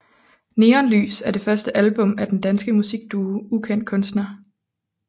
Neonlys er det første album af den danske musikduo Ukendt Kunstner